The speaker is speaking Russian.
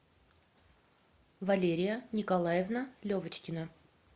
валерия николаевна левочкина